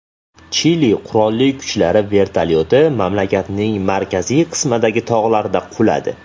Chili qurolli kuchlari vertolyoti mamlakatning markaziy qismidagi tog‘larda quladi.